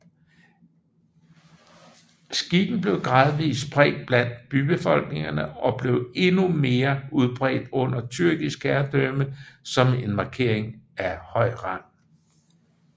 Skikken blev gradvis spredt blandt bybefolkningerne og blev endnu mere udbredt under tyrkisk herredømme som en markering af høj rang